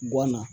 Bɔ na